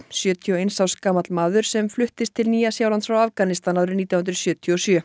sjötíu og eins árs gamall maður sem flutti til Nýja Sjálands frá Afganistan árið nítján hundruð sjötíu og sjö